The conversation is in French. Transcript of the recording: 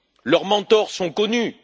Leurs mentors sont connus.